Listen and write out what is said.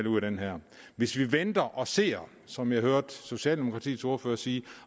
ud af den her hvis vi venter og ser som jeg hørte socialdemokratiets ordfører sige